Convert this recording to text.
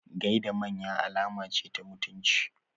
Gaida manya alama ce ta mutunci.